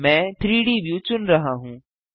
मैं 3डी व्यू चुन रहा हूँ